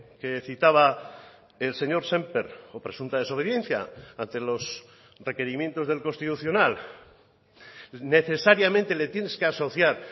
que citaba el señor sémper o presunta desobediencia ante los requerimientos del constitucional necesariamente le tienes que asociar